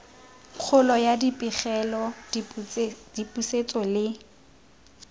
kgolo ya dipegelo dipusetso le